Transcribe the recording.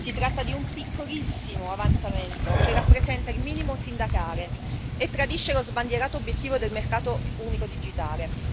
Si tratta di un piccolissimo avanzamento che rappresenta il minimo sindacale e tradisce lo sbandierato obiettivo del mercato unico digitale.